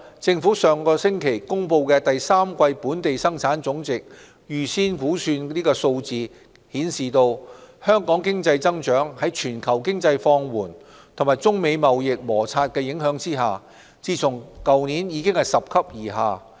政府上星期公布的第三季本地生產總值預先估算數字顯示，香港經濟增長在全球經濟放緩和中美貿易摩擦的影響下，自去年起已拾級而下。